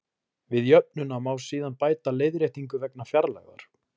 Við jöfnuna má síðan bæta leiðréttingu vegna fjarlægðar.